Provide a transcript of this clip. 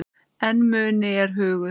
En muni er hugur.